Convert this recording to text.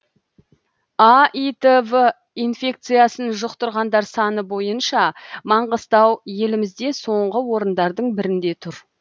аитв инфекциясын жұқтырғандар саны бойынша маңғыстау елімізде соңғы орындардың бірінде тұр